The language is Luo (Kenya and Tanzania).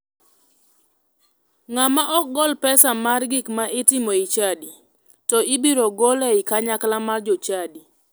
Ng'ama ok gol pesa mar gik ma itimo e chadi to ibiro gol e kanyakla mar jokanyo.